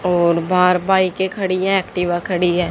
और बाहर बाईकें खड़ी हैं एक्टिवा खड़ी है।